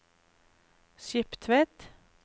Skiptvet